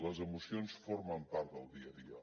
les emocions formen part del dia a dia